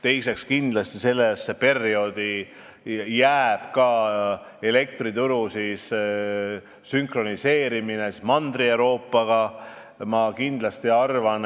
Teiseks, kindlasti jääb sellesse perioodi elektrituru sünkroniseerimine Mandri-Euroopa omaga.